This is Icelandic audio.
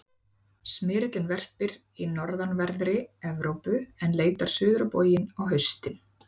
smyrillinn verpir í norðanverðri evrópu en leitar suður á bóginn á haustin